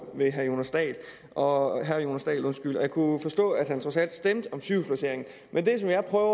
til herre jonas dahl og jeg kunne forstå at han trods alt stemte om sygehusplaceringen men det som jeg prøver